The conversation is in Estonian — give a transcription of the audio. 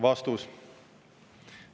" Vastus.